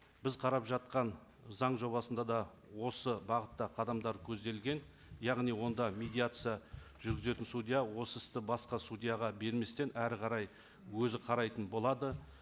біз қарап жатқан заң жобасында да осы бағытта қадамдар көзделген яғни онда медиация жүргізетін судья осы істі басқа судьяға берместен әрі қарай өзі қарайтын болады